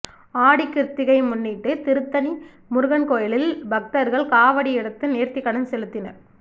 ஆடிக்கிருத்திகை முன்னிட்டு திருத்தணி முருகன் கோயிலில் பக்தர்கள் காவடி எடுத்து நேர்த்திக்கடன் செலுத்தினர்